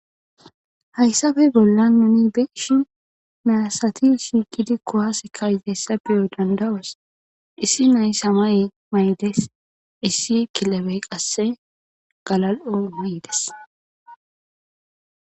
hayssabe bolla nuni beshi miyasati shiikidi kowase ka izayssa beyo dandawos issi nay samay maydes issi kilebey qasse galal7o maydes